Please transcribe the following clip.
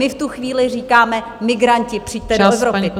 My v tu chvíli říkáme - migranti, přijďte do Evropy.